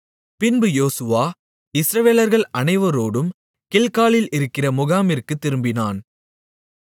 பின்பு யோசுவா இஸ்ரவேலர்கள் அனைவரோடும் கில்காலில் இருக்கிற முகாமிற்குத் திரும்பினான்